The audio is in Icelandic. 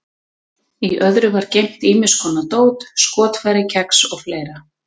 Í öðru var geymt ýmis konar dót, skotfæri, kex og fleira.